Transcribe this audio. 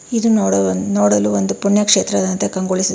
ಇದು ನೋಡುವ ನೋಡಲು ಒಂದು ಪುಣ್ಯಕ್ಷೇತ್ರದಂತೆ ಕಂಗೊಳಿಸುತ್ತದೆ.